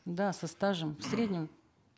да со стажем в среднем